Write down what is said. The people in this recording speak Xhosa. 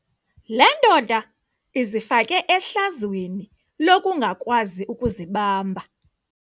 Le ndoda izifake ehlazweni lokungakwazi ukuzibamba.